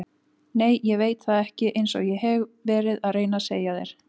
Nei ég veit það ekki einsog ég hef verið að reyna að segja þér.